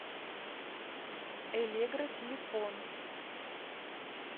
элегра телефон